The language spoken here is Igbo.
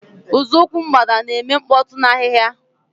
Nzọụkwụ Mgbada na-eme mkpọtụ n'ahịhịa.